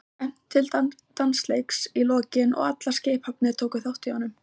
Það var efnt til dansleiks í lokin og allar skipshafnir tóku þátt í honum.